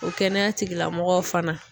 O kɛnɛya tigilamɔgɔw fana